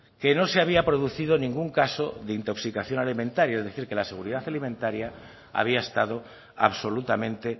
que no se había producido ningún caso de intoxicación alimentaria es decir que la seguridad alimentaria había estado absolutamente